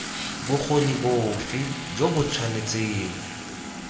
bokgoni bofe jo bo tshwanetseng